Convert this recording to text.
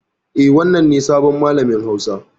Eh, wannan ne sabon malamin hausa.